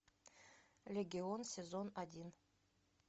легион сезон один